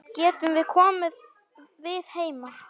Getum við komið við heima?